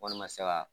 Wari ma se ka